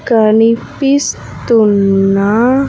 కనిపిస్తున్న.